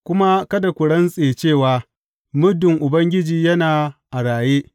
Kuma kada ku rantse cewa, Muddin Ubangiji yana a raye!’